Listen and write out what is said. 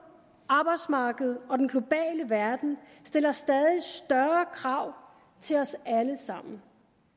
arbejdsmarkedet og den globale verden stiller stadig større krav til os alle sammen